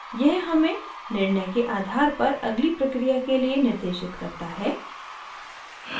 यह हमें निर्णय के आधार पर अगली प्रक्रिया के लिए निर्देशित करता है